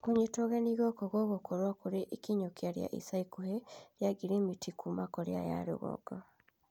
Kũnyitwo ũgeni gũkũ gũgũkorwo kũrĩ ikinyũkia rĩa ica ikuhĩ rĩa ngirimiti kuuma Korea ya rũgongo.